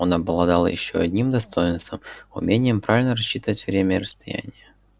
он обладал ещё одним достоинством умением правильно рассчитывать время и расстояние